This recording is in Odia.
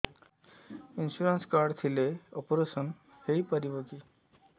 ଇନ୍ସୁରାନ୍ସ କାର୍ଡ ଥିଲେ ଅପେରସନ ହେଇପାରିବ କି